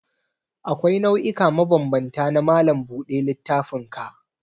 Akwai nau'ika mabambanta na malam buɗe littafinka.